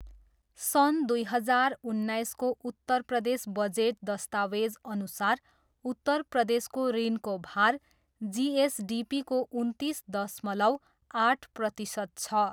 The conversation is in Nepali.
सन् दुई हजार उन्नाइसको उत्तर प्रदेश बजेट दस्तावेजअनुसार उत्तर प्रदेशको ऋणको भार जिएसडिपीको उन्तिस दशमलव आठ प्रतिशत छ।